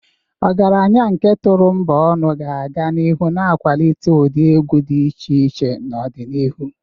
Ọgaranya nke Turombonu ga-aga n'ihu na-akwalite ụdị egwu dị iche iche n'ọdịnihu.